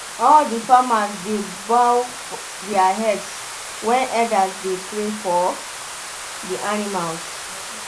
all the farmers dey bow their heads when elders dey pray for the animals.